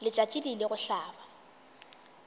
letšatši le ile go hlaba